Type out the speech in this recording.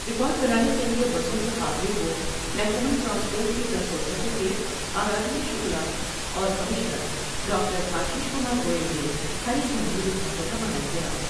Record بنانے کے لئے بسوں کے قافلے کومحکمہ ٹرانسپورٹ کی پرنسپل سکریٹری آرادھنا شکلا اور commissioner doctor Ashish Kumar Goel نے ہری جھنڈی دکھا کر روانہ کیا ۔